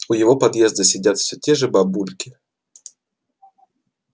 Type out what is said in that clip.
у его подъезда сидят все те же бабульки